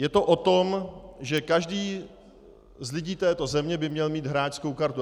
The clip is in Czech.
Je to o tom, že každý z lidí této země by měl mít hráčskou kartu.